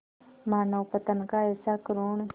मानवपतन का ऐसा करुण